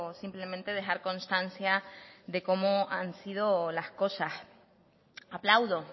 simplemente dejar constancia de cómo han sido las cosas aplaudo